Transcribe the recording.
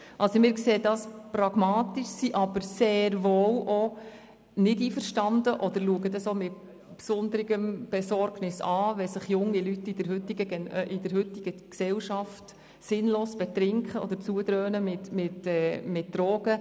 Wir sehen das pragmatisch, sind aber nicht einverstanden und sehen es mit Besorgnis, wenn sich junge Leute in der heutigen Gesellschaft sinnlos betrinken oder Drogen nehmen.